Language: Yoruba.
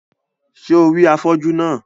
Ṣé o rí afọ́jú náà?